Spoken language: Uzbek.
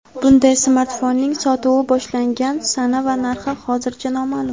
Bunday smartfonning sotuvi boshlangan sana va narxi hozircha noma’lum.